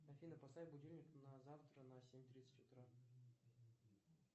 афина поставь будильник на завтра на семь тридцать утра